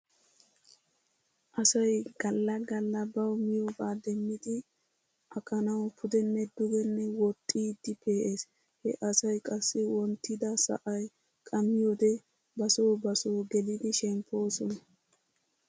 Asay gala gala baw miyoobaa demidi aqanaw pudenne dugenne woxiidi pee'es. He asay qassi wonttida sa'ay qammiyoode basoo basoo gelidi shempoosona.